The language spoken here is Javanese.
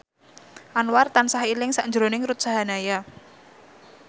Anwar tansah eling sakjroning Ruth Sahanaya